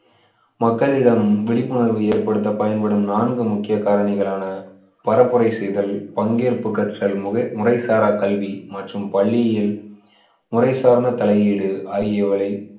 மக்களிடம் விழிப்புணர்வு ஏற்படுத்த பயன்படும் நான்கு முக்கிய காரணிகளான பரப்புரை செய்தல், பங்கேற்பு கற்றல், முறைசாரா கல்வி மற்றும் பள்ளியில் முறை சார்ந்த தலையீடு ஆகியவைகளை